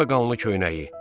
Bu da qanlı köynəyi.